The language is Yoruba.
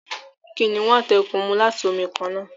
Kìnìún àti eku mú láti omí kànnà.